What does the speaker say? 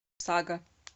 сага